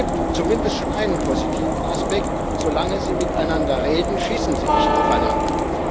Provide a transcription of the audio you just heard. Es gibt zumindest schon einen positiven Aspekt Solange sie miteinander reden, schießen sie nicht aufeinander.